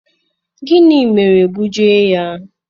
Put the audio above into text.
gini mere gbuji ya?